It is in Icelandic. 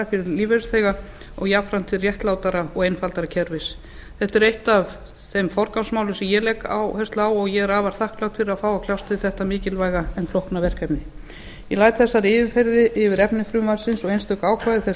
fyrir lífeyrisþega og jafnframt til réttlátara og einfaldara kerfis þetta er eitt af þeim forgangsmálum sem ég legg áherslu á og ég er afar þakklát fyrir að fá að kljást við þetta mikilvæga en flókna verkefni ég læt þessari yfirferð yfir efni frumvarpsins og einstök ákvæði þess